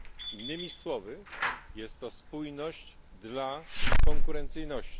Innymi słowy jest to spójność dla konkurencyjności.